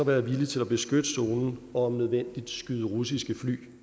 være villig til at beskytte zonen og om nødvendigt skyde russiske fly